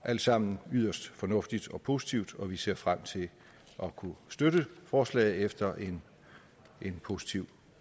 alt sammen yderst fornuftigt og positivt og vi ser frem til at kunne støtte forslaget efter en positiv